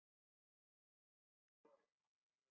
Séns á að fara á hestbak?